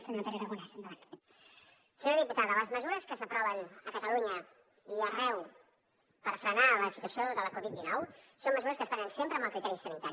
senyora diputada les mesures que s’aproven a catalunya i arreu per frenar la situació de la covid dinou són mesures que es prenen sempre amb el criteri sanitari